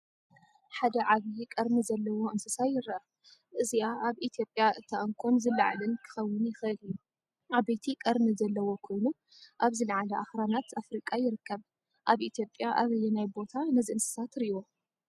ሓደ ዓበይ ቀርኒ ዘለዎ እንስሳ ይርአ። እዚኣ ኣብ ኢትዮጵያ እታ እንኮን ዝለዓለን ክኸውን ይኽእል እዩ። ዓበይቲ ቀርኒ ዘለዎ ኮይኑ ኣብ ዝለዓለ ኣኽራናት ኣፍሪቃ ይርከብ። ኣብ ኢትዮጵያ ኣበየናይ ቦታ ነዚ እንስሳ ትሪእዎ?